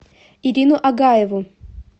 ирину агаеву